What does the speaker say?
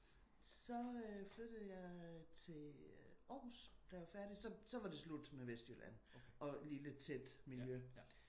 Så øh flyttede jeg til Aarhus da jeg var færdig. Så så var det slut med Vestjylland og lille tæt miljø